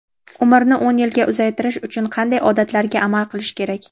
Umrni o‘n yilga uzaytirish uchun qanday odatlarga amal qilish kerak?.